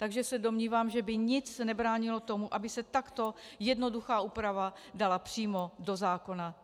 Takže se domnívám, že by nic nebránilo tomu, aby se takto jednoduchá úprava dala přímo do zákona.